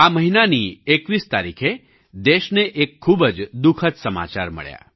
આ મહિનાની 21 તારીખે દેશને એક ખૂબ જ દુઃખદ સમાચાર મળ્યા